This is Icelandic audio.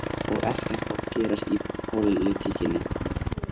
Og ekkert að gerast í pólitíkinni